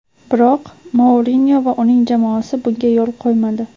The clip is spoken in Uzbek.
Biroq Mourinyo va uning jamoasi bunga yo‘l qo‘ymadi.